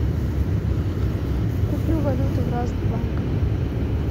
куплю валюту в разных банках